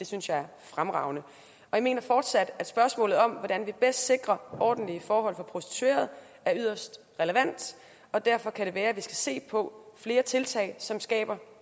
synes er fremragende og jeg mener fortsat at spørgsmålet om hvordan vi bedst sikrer ordentlige forhold for prostituerede er yderst relevant og derfor kan det være vi skal se på flere tiltag som skaber